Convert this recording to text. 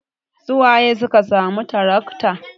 Su waye suka samu tarakta?